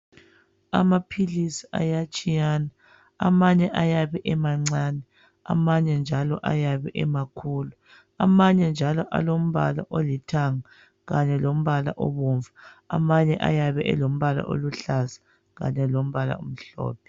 Amaphilisi ayatshiyana amanye ayabe emancane amanye njalo ayabe emakhulu amanye njalo alombala olithanga kanye lombala obomvu amanye ayabe elombala oluhlaza kanye lombala omhlophe.